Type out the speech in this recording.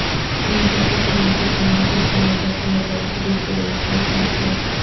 مودی کو clean chit دینے کے خلاف ذکیہ جعفری کی درخواست مسترد